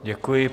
Děkuji.